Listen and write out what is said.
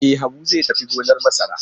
E, Habu zai tafi gonar masara.